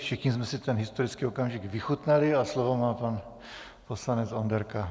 Všichni jsme si ten historický okamžik vychutnali a slovo má pan poslanec Onderka.